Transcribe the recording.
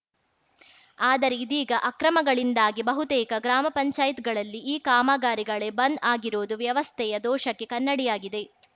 ಆದರೆ ಇದೀಗ ಅಕ್ರಮಗಳಿಂದಾಗಿ ಬಹುತೇಕ ಗ್ರಾಮ ಪಂಚಾಯತ್ ಗಳಲ್ಲಿ ಈ ಕಾಮಗಾರಿಗಳೇ ಬಂದ್‌ ಆಗಿರುವುದು ವ್ಯವಸ್ಥೆಯ ದೋಷಕ್ಕೆ ಕನ್ನಡಿಯಾಗಿದೆ